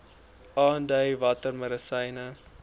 aandui watter medisyne